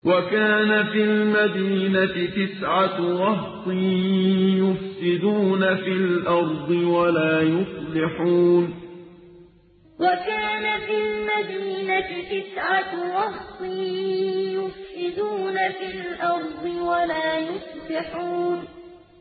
وَكَانَ فِي الْمَدِينَةِ تِسْعَةُ رَهْطٍ يُفْسِدُونَ فِي الْأَرْضِ وَلَا يُصْلِحُونَ وَكَانَ فِي الْمَدِينَةِ تِسْعَةُ رَهْطٍ يُفْسِدُونَ فِي الْأَرْضِ وَلَا يُصْلِحُونَ